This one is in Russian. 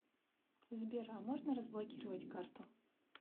сбер а можно разблокировать карту